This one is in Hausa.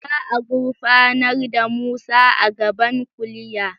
Za a gurfanar da Musa a gaban kuliya?